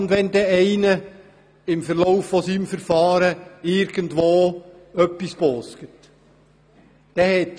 Was ist, wenn ein Gesuchsteller während seines Verfahrens etwas «bosget»?